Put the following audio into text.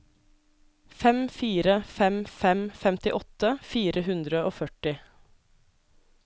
fem fire fem fem femtiåtte fire hundre og førti